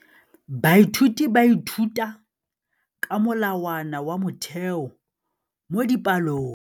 Baithuti ba ithuta ka molawana wa motheo mo dipalong.